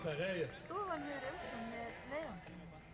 Stofan hefur umsjón með leiðangrinum